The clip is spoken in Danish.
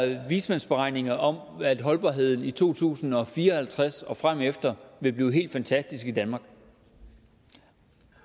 der vismandsberegninger om at holdbarheden i to tusind og fire og halvtreds og fremefter vil blive helt fantastisk i danmark